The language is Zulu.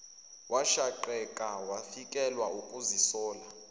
washaqeka wafikelwa ukuzisola